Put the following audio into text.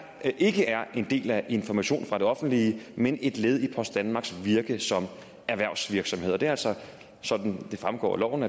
ikke er en del af informationen fra det offentlige men et led i post danmarks virke som erhvervsvirksomhed og det er altså sådan det fremgår af loven